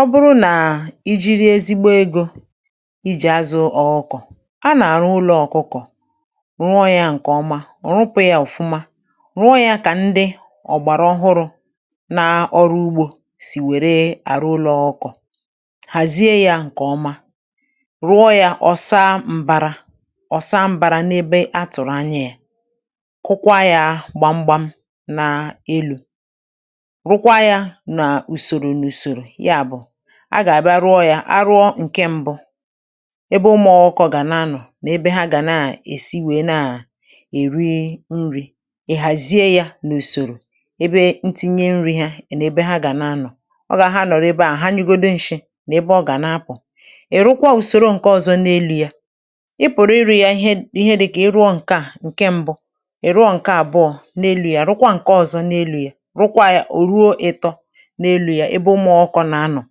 Ọ bụrụ nà i jiri ezigbo egȯ, i jì azụ̇ ọ ọkọ̀, a nà-àrụ ụlọ̇ ọkụkọ̀ rụọ yȧ ǹkè ọma, rụpụ̇ yȧ ọ̀fụma rụọ yȧ kà ndị ọ̀gbàrà ọhụrụ̇ na-ọrụ ugbȯ sì wère àrụ ụlọ̇ ọkọ̀, hàzie yȧ ǹkè ọma rụọ yȧ ọ̀sa mbara ọ̀sa mbara n’ebe atụ̀rụ̀ anya yȧ kụkwa yȧ gbamgbam n’elu̇, rukwa ya na usoro na usoro ya bụ agà-àbịa rụọ yȧ arụọ ǹke mbụ ebe ụmụ̇ọ̇ ọkụkọ̇ gà na-anọ̀ nà ebe ha gà na-èsi wèe na-àsi èri nri̇, ị̀ hàzie yȧ n’ùsòrò ebe ntinye nri̇ hȧ nà ebe ha gà nà-anọ̀. ọ gà ha nọ̀rọ ebe à ha nyugodu nshị̇ nà ebe ọ gà na-apụ̀. ị̀ rụkwa ùsòro ǹke ọ̇zọ̇ n’elù ya i pụ̀rụ iru ya ihe dị̇kà i rụọ ǹke à ǹke mbụ, ị rụọ ǹke àbụọ̇ n’elu̇ yȧ rụkwa ǹke ọ̇zọ̇ n’elu̇ yȧ rụkwa yȧ ò ruo ịtọ n'elu ya ebe ụmụ ọkụkọ na-anọ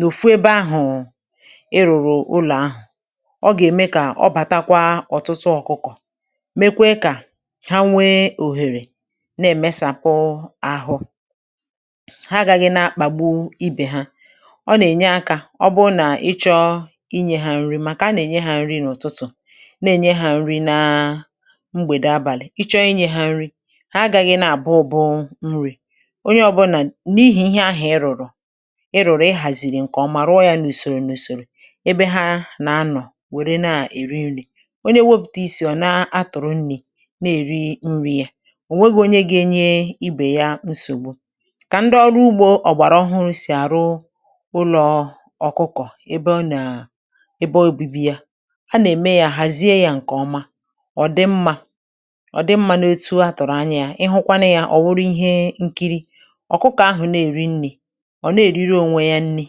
nòfu ebe ahụ̀ ị rụ̀rụ̀ ụlọ̀ ahụ̀, ọ gà-ème kà ọ bàtakwa ọ̀tụtụ ọ̀kụ̀kọ̀, mekwe kà ha nwee òhèrè na-èmesàpụ àhụ, ha agȧghị̇ na-akpàgbu ibè ha, ọ nà-ènye akȧ ọ bụ nà ị chọọ inyė hȧ nri màkà a nà-ènye hȧ nri n’ụ̀tụtụ̀ na-ènye hȧ nri na mgbèdè abàlị̀ ị chọọ inyė hȧ nri̇ ha aghị̇ghị̇ nà àbụ ubụ nrị̇ onye ọbụnà n’ihì ihe ahụ̀ ị rụ̀rụ̀ ị rụ̀rụ̀ ị hàzìrì ǹkè o mà rụọ yȧ nà ùsòrò nà ùsòrò ebe ha nà anọ̀ wère na-èri nri̇, onye wėpụ̀tà isì ọ̀ na-atụ̀rụ nni̇ na-èri nri̇ yȧ ò nweghi̇ onye ga-enye ibè ya nsògbu. Kà ndị ọrụ ugbȯ ọ̀gbàrà ọhụụ sì àrụ ụlọ̀ ọ̀kụkọ̀ ebe ọ nàà ebe obibi yȧ a nà-ème yȧ hàzie yȧ ǹkè oma ọ̀ dị mmȧ ọ̀ dị mmȧ n’otu a tụ̀rụ̀ anya yȧ ị hụkwanụ yȧ ọ̀ wụro ihe nkiri, ọkụkọ ahụ̀ na-èri nri̇, Ona-eriri onwe ya nri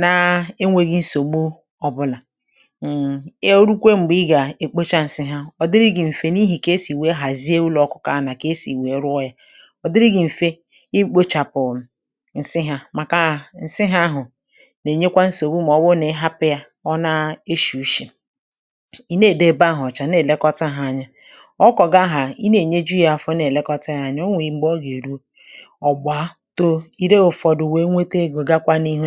na-enwėghi̇ nsògbu ọbụlà, ya o rukwe m̀gbè ị gà-èkpocha ǹsị ha, ọ̀ dịrị gi̇ m̀fè n’ihì kà esì wee hàzie ụlọ̀ ọkụkọ̇ a nà kà esì wee rụọ ya ọ̀ dịrị gi̇ m̀fe i kpochàpụ̀ ǹsị hȧ màkà ǹsị hȧ ahụ̀ nà-ènyekwa nsògbu mà ọbụ̇ru na-ị hapụ̇ yȧ ọ na-eshi̇ ushì, ì na-èdo ebe ahụ̀ ọ̀cha na-èlekọta hȧ anya ọkụkọ̀ gị ahà i na-ènyeju ya afọ na-èlekọta hȧ anya, o nwè ebe ọ gà-èru, ọgbaa, too, ire ụfọdụ wee nweta ego, gakwa n'ihu.